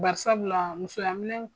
Bari sabu la musoya minɛn